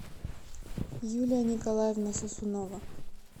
юлия николаевна сосунова